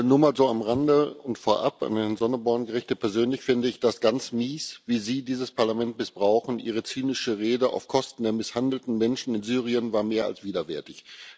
Nur mal so am Rande und vorab an Herrn Sonneborn gerichtet Persönlich finde ich das ganz mies, wie Sie dieses Parlament missbrauchen. Ihre zynische Rede auf Kosten der misshandelten Menschen in Syrien war mehr als widerwärtig.